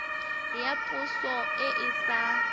ya poso e e sa